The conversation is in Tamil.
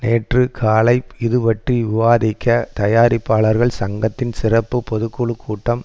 நேற்று காலை இதுபற்றி விவாதிக்க தயாரிப்பாளர்கள் சங்கத்தின் சிறப்பு பொது குழு கூட்டம்